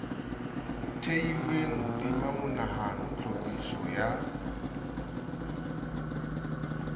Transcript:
theilweng hodima monahano tlhophiso ya